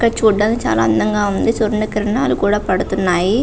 ఇక్కడ చూడ్డానికి చాలా అందము ఉంది. సూర్యకిరణాలు కూడా పడతున్నాయి.